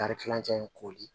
Kari kilancɛ in kori